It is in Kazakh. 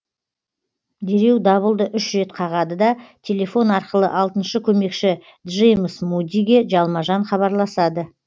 дереу дабылды үш рет қағады да телефон арқылы алтыншы көмекші джеймс мудиге жалма жан хабарласады